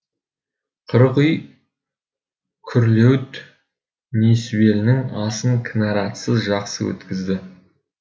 қырық үй күрлеуіт несібелінің асын кінаратсыз жақсы өткізді